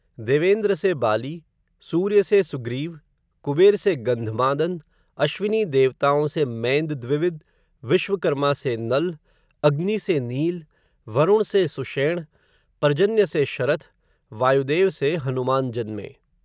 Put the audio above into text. देवेंद्र से बाली, सूर्य से सुग्रीव, कुबेर से गंधमादन, अश्र्विनी देवताओं से, मैंदद्विविद, विश्वकर्मा से नल, अग्नि से नील, वरुण से सुषेण, पर्जन्य से शरथ, वायुदेव से हनुमान जन्मे